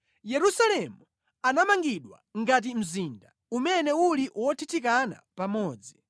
Yerusalemu anamangidwa ngati mzinda umene uli wothithikana pamodzi.